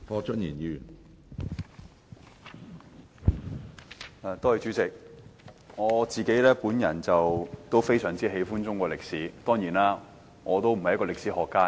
主席，我非常喜歡中國歷史，但我當然不是歷史學家。